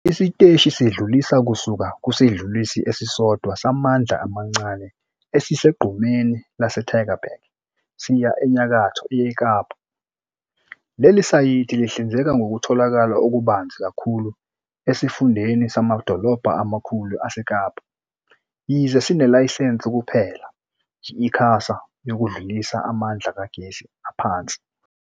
Isiteshi sidlulisa kusuka kusidlulisi esisodwa samandla amancane esisegqumeni laseTygerberg, siya enyakatho yeKapa. Leli sayithi lihlinzeka ngokutholakala okubanzi kakhulu esifundeni samadolobha amakhulu aseKapa, yize sinelayisense kuphela, yi- ICASA, yokudlulisa amandla kagesi aphansi.